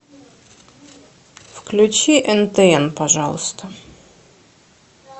включи нтн пожалуйста